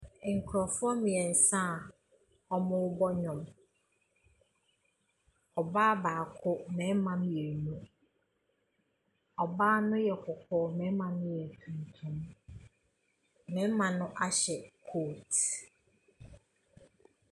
Nkurɔfoɔ mmeɛnsa a wɔrebɔ nnwom. Ɔbaa baako, mmarima mmienu. Ɔbaa no yɛ kɔkɔɔ, mmarima no yɛ atuntum. Mmarima no ahyɛ coat.